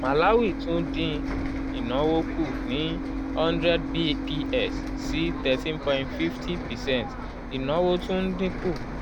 malawi tún dín ìnáwó kù ní 100 bps sí 13.50 percent ìnáwó tún ń dín kù